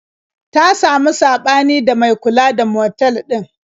Ta samu saɓani da mai kula da motal ɗin.